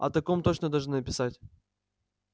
о таком точно должны написать